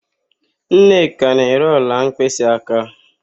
Nneka na-ere ọla mkpịsịaka.